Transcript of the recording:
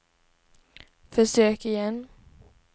försök igen